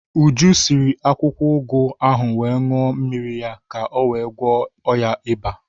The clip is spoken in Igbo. Uju siri akwukwo ụgụ ahụ wee ṅuọ mmiri ya ka o wee gwọọ ya iba.